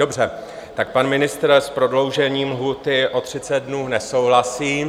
Dobře, tak pan ministr s prodloužením lhůty o 30 dnů nesouhlasí.